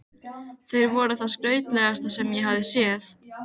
Þeir voru það skrautlegasta sem ég hafði séð.